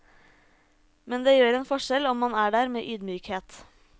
Men det gjør en forskjell om man er der med ydmykhet.